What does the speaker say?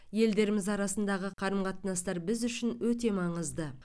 елдеріміз арасындағы қарым қатынастар біз үшін өте маңызды